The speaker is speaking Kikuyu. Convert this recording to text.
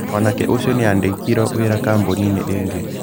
Mwanake ũcio nĩ andĩkirwo wĩra kambuni-inĩ ĩngĩ.